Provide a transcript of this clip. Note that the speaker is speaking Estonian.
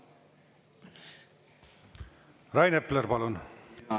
Rain Epler, palun!